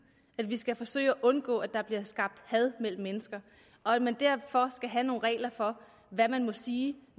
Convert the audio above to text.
at vi skal forsøge at undgå at der bliver skabt had mellem mennesker og at vi derfor skal have nogle regler for hvad man må sige